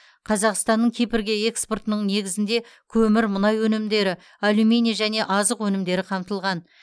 қазақстанның кипрге экспортының негізінде көмір мұнай өнімдері алюминий және азық өнімдері қамтылған